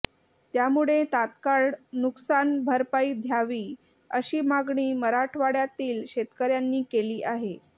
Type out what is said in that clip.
त्यामुळे तात्काळ नुकसानभरपाई द्यावी अशी मागणी मराठवाड्यातील शेतकऱ्यांनी केली आहे